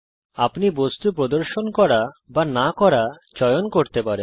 আপনি বস্তু প্রদর্শন করা অথবা না করা চয়ন করতে পারেন